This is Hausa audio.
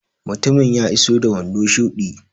Mutumin ya iso da wando shuɗi.